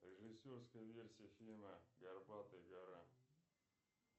режиссерская версия фильма горбатая гора